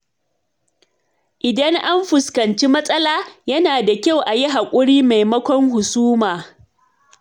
Idan an fuskanci matsala, yana da kyau a yi hakuri maimakon husuma.